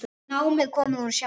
Námið kostaði hún sjálf.